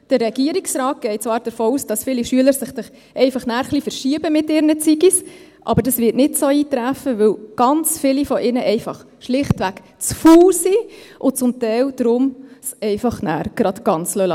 Der Regierungsrat geht zwar davon aus, dass sich viele Schüler dann einfach ein bisschen verschieben mit ihren «Zigis», aber dies wird nicht so eintreffen, weil ganz viele von ihnen schlichtweg zu faul sind und es daher zum Teil gleich ganz sein lassen.